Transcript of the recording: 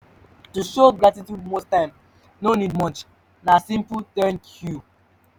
to show gratitude most times no need much na simple 'thank you'